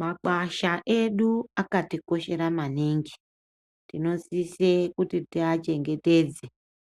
Makwasha edu akatikoshera maningi. Anosise kuti tiwachengetedze,